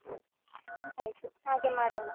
ಹ್ಮ್ಮ್ ಆಯ್ತು, ಹಾಗೆ ಮಾಡೋಣ.